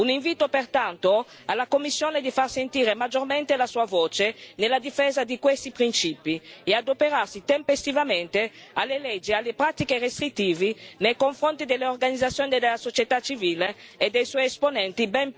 Un invito pertanto alla Commissione a far sentire maggiormente la sua voce nella difesa di questi principi e ad adoperarsi tempestivamente alle leggi e alle pratiche restrittive nei confronti delle organizzazioni della società civile e dei suoi esponenti ben prima della loro adozione.